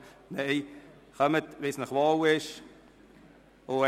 Nein: Kommen Sie so, wie Sie sich wohlfühlen.